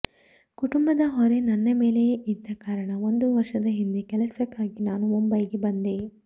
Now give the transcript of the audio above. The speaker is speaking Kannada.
ಕುಟುಂಬದ ಹೊರೆ ನನ್ನ ಮೇಲೆಯೇ ಇದ್ದ ಕಾರಣ ಒಂದು ವರ್ಷದ ಹಿಂದೆ ಕೆಲಸಕ್ಕಾಗಿ ನಾನು ಮುಂಬೈಗೆ ಬಂದೆ